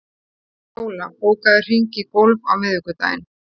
Fjóla, bókaðu hring í golf á miðvikudaginn.